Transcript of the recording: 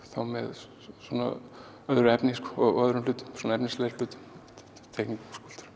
þá með svona öðru efni og öðrum hlutum efnislegri hlutum teikningum